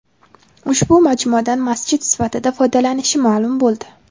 ushbu majmuadan masjid sifatida foydalanilishi ma’lum bo‘ldi.